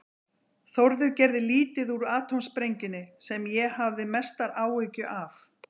Þórður gerði lítið úr atómsprengjunni, sem ég hafði mestu áhyggjur af.